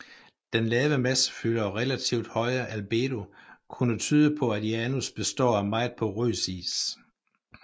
Den lave massefylde og relativt høje albedo kunne tyde på at Janus består af meget porøs is